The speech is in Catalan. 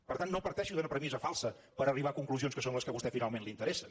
per tant no parteixi d’una premissa falsa per arribar a conclusions que són les que a vostè finalment li interessen